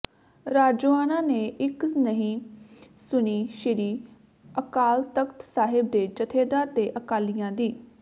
ਰਾਜੋਆਣਾ ਨੇ ਇੱਕ ਨਹੀਂ ਸੁਣੀ ਸ੍ਰੀ ਅਕਾਲ ਤਖ਼ਤ ਸਾਹਿਬ ਦੇ ਜੱਥੇਦਾਰ ਤੇ ਅਕਾਲੀਆਂ ਦੀ